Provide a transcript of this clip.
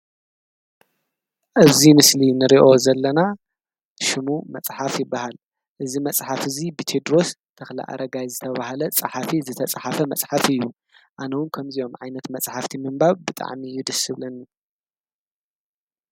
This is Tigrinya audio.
እዙይ ምስሊ ንርእዮ ዘለና ሹሙ መጽሓፍ ይበሃል እዝ መጽሓፍ እዙይ ብቴድሮስ ተኽሊ ኣረጋይ ዝተብብሃለ ፀሓፊ ዝተጸሓፈ መጽሓፍ እዩ ኣነዉን ከምዚይዮም ዓይነት መጽሕፍቲ ምንባብ ብጠዕሚ እዩ ድስብልን